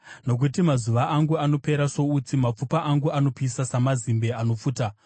Nokuti mazuva angu anopera soutsi; mapfupa angu anopisa samazimbe anopfuta.